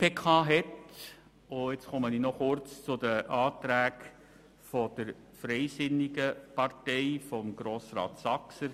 Nun komme ich noch kurz zu den Planungserklärungen der FDP von Grossrat Saxer.